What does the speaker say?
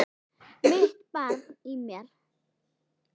Mitt barn í mér.